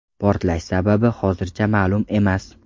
Portlash sababi hozircha ma’lum emas.